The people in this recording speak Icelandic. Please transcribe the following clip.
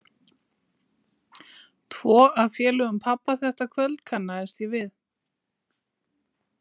Tvo af félögum pabba þetta kvöld kannaðist ég við.